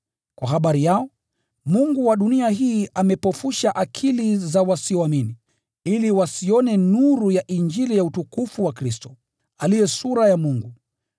Kwa habari yao, mungu wa dunia hii amepofusha akili za wasioamini, ili wasione nuru ya Injili ya utukufu wa Kristo, aliye sura ya Mungu.